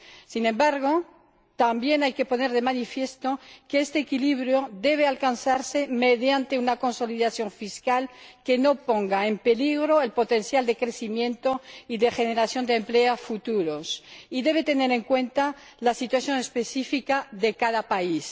Sin embargo, también hay que poner de manifiesto que este equilibrio debe alcanzarse mediante una consolidación fiscal que no ponga en peligro el potencial de crecimiento y de generación de empleo futuros, y debe tener en cuenta la situación específica de cada país.